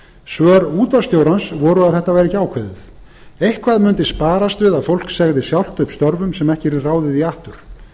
svör útvarpsstjórans voru að þetta væri ekki ákveðið eitthvað mundi sparast við að fólk segði sjálft upp störfum sem ekki yrði ráðið í aftur